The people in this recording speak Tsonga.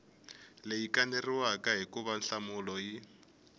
leyi kaneriwaka hikuva nhlamulo yi